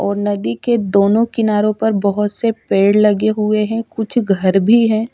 और नदी के दोनों किनारो पर बहोत से पेड़ लगे हुए हैं कुछ घर भी है।